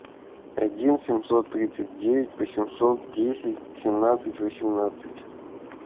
один семьсот тридцать девять восемьсот десять семнадцать восемнадцать